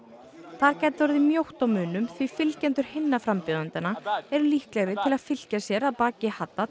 þar gæti orðið mjótt á munum því fylgjendur hinna frambjóðendanna eru líklegri til að fylkja sér að baki